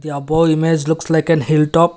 the above image looks like an hill top